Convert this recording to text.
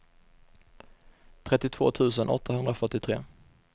trettiotvå tusen åttahundrafyrtiotre